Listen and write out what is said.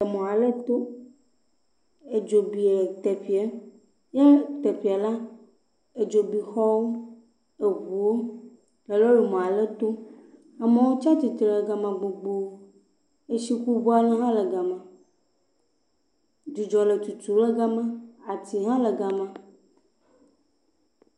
Emɔ ale to. Edzo bi le teƒeɛ. Yɛ teƒeɛ la, edzo bi xɔwo, eŋuwo le lɔlemɔ aɖe to. Amewo tsa tsitre le gama gbogboo. Etsikuŋu aɖe hã le gama. Dzudzɔ le tutu le gama. Ati hã le gama.